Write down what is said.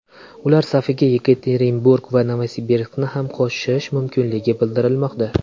Ular safiga Yekaterinburg va Novosibirskni ham qo‘shish mumkinligi bildirilmoqda.